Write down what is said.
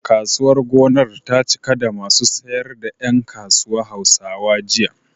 Kasuwar gonar ta cika da masu sayar da ƴan kasuwa Hausawa, jiya.